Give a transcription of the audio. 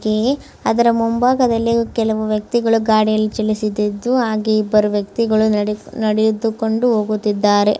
ಇಲ್ಲಿ ಅದರ ಮುಂಭಾಗದಲ್ಲಿ ಕೆಲವರು ಗಾಡಿಯನ್ನು ಓಡಿಸುತ್ತಿದ್ದಾರೆ ಹಾಗೆ ಇಬ್ಬರು ವ್ಯಕ್ತಿಗಳು ನಡೆದು ಪ್ರವೇಶಿಸುತ್ತಿದ್ದಾರೆ.